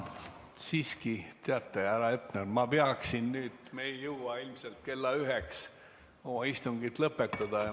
Aga siiski, teate, härra Hepner, me ei jõua ilmselt kella üheks istungit lõpetada.